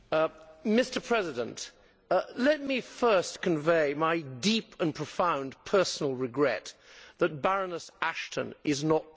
Mr President, let me first convey my deep and profound personal regret that Baroness Ashton is not present.